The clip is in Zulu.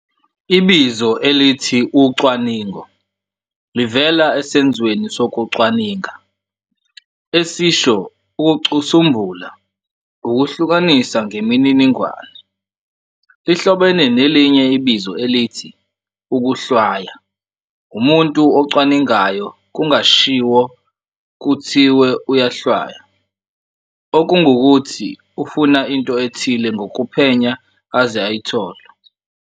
Ibizo elithi "ucwaningo" livela esenzweni sokucwaninga, esisho 'ukucusumbula, ukuhlukanisa ngemininingwane,' lihlobene nelinye ibizo elithi 'ukuhlwaya', umuntu ocwaningayo kungashiwo kuthiwe uyahlwaya, okungukuthi ufuna into ethile ngokuphenya aze ayithole.